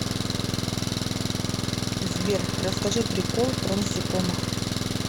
сбер расскажи прикол про насекомых